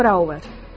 Lee Brower.